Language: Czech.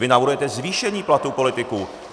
Vy navrhujete zvýšení platů politiků.